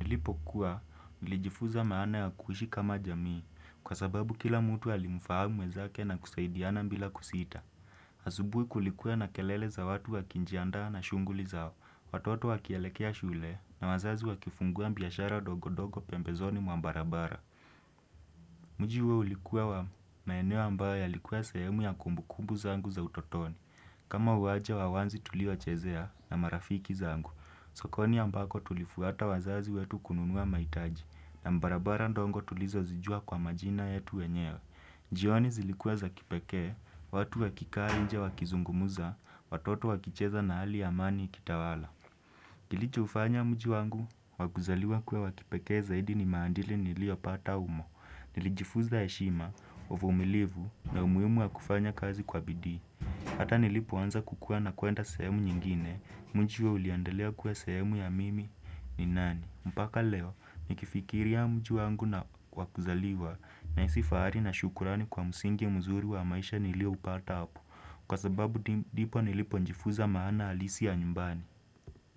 Nilipokuwa, nilijifuza maana ya kuishi kama jamii kwa sababu kila mtu alimfahamu wezake na kusaidiana bila kusita. Asubuhi kulikuwa na kelele za watu wakinjiandaa na shunguli zao, watoto wakielekea shule na wazazi wa kifungua biashara ndogondogo pembezoni mwa barabara. Mji huo ulikuwa wa maeno ambayo yalikuwa sehemu ya kumbukumbu zangu za utotoni. Kama uwanja wa wazi tulio chezea na marafiki zangu, sokoni ambako tulifuata wazazi wetu kununua mahitaji na barabara ndogo tulizozijua kwa majina yetu wenyewe. Jioni zilikuwa za kipekee, watu wakikaa nje wa kizungumuza, watoto wa kicheza na hali ya amani ikitawala. Kilicho ufanya mji wangu, wa kuzaliwa kuwa wa kipeke zaidi ni maandili niliopata umo. Nilijifuza heshima, umilivu na umuhimu ya kufanya kazi kwa bidii Hata nilipo anza kukua na kuenda sehemu nyingine Mji huo uliendelea kuwa sehemu ya mimi ni nani mpaka leo, nikifikiri ya mji wangu na wa kuzaliwa Nahisi fahari na shukurani kwa msingi mzuri wa maisha nilioupata hapo Kwa sababu ndipo nilipo njifuza maana halisi ya nyumbani.